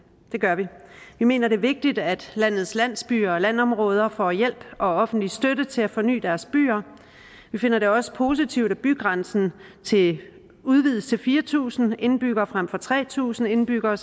det gør vi vi mener det er vigtigt at landets landsbyer og landområder får hjælp og offentlig støtte til at forny deres byer vi finder det også positivt at bygrænsen udvides til fire tusind indbyggere frem for tre tusind indbyggere